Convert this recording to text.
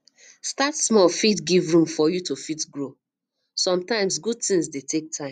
start small give room for you to fit grow sometimes good thing dey take time